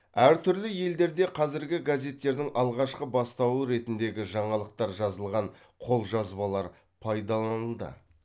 әр түрлі елдерде қазіргі газеттердің алғашқы бастауы ретіндегі жаңалықтар жазылған қолжазбалар пайдаланылды